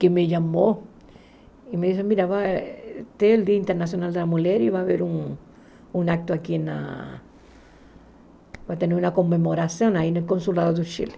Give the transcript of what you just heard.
que me chamou e me disse, olha, tem o Dia Internacional da Mulher e vai haver um um ato aqui, vai ter uma comemoração aí no Consulado do Chile.